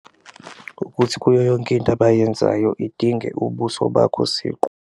Ukuthi kuyo yonke into abayenzayo idinge ubuso bakho siqu.